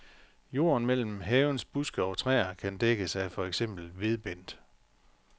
Jorden mellem havens buske og træer kan dækkes af for eksempel vedbend.